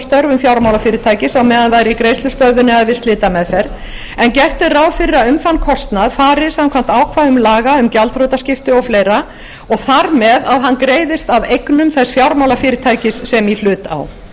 störfum fjármálafyrirtækis á meðan það er í greiðslustöðvun eða við slitameðferð en gert er ráð fyrri að um þann kostnað fari samkvæmt ákvæðum laga um gjaldþrotaskipti og fleiri og þar með að hann greiðist af eignum þess fjármálafyrirtækis sem í hlut á